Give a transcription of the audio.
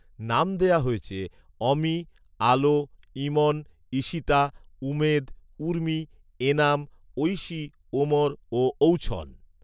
নাম দেয়া হয়েছে অমি, আলো, ইমন, ঈশিতা, উমেদ, উর্মি, এনাম, ঐশী, ওমর ও ঔছন